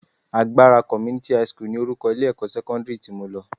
Agbara Community high school ni orúkọ ilé-ẹ̀kọ́ sẹ́kọ́ndírì tí mo lọ